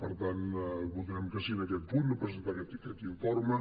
per tant votarem que sí en aquest punt de presentar aquest informe